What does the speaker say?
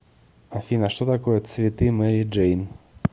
афина что такое цветы мэри джейн